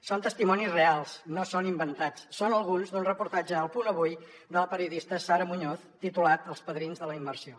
són testimonis reals no són inventats en són alguns d’un reportatge a el punt avui de la periodista sara muñoz titulat els padrins de la immersió